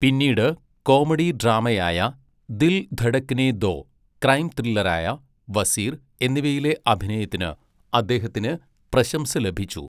പിന്നീട് കോമഡി ഡ്രാമയായ 'ദിൽ ധഡക്നേ ദോ', ക്രൈം ത്രില്ലറായ 'വസീർ' എന്നിവയിലെ അഭിനയത്തിന് അദ്ദേഹത്തിന് പ്രശംസ ലഭിച്ചു.